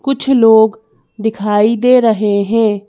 कुछ लोग दिखाई दे रहे हैं।